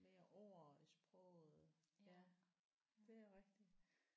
Mere ord i sproget ja det er rigtigt